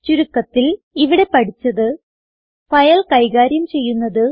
ചുരുക്കത്തിൽ ഇവിടെ പഠിച്ചത് ഫയൽ കൈകാര്യം ചെയ്യുന്നത്